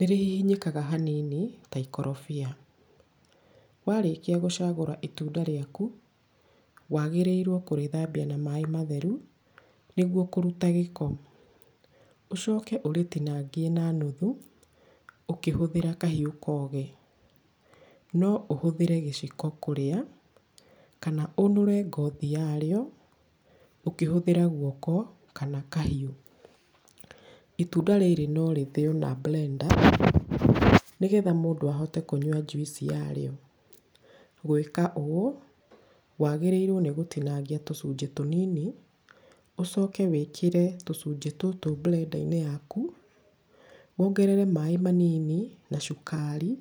nĩrĩhihinyĩkaga hanini ta ikorobia. Warĩkia gũcagũra itunda rĩaku, wagĩrĩirwo kũrĩthambia na maaĩ matheru nĩgwo kũruta gĩko. Ũcoke ũrĩtinangie na nuthu ũkĩhũthĩra kahiũ kogi. No ũhũthĩre gĩciko kũrĩa, kana ũnũre ngothi yarĩo ũkĩhũthĩra guoko kana kahiũ. Itunda rĩrĩ no rĩthĩywo na blender, nĩgetha mũndũ ahote kũnyua njuici yarĩo. Gwĩka ũũ, wagĩrĩirwo nĩ gũtinangia tũcunjĩ tũnini, ũcoke wĩkĩre tũcunjĩ tũtũ blender -inĩ yaku, wongerere maaĩ manini na cukari